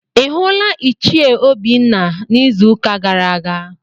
Ị hụla Ichie Obinna n'izuụka gara aga?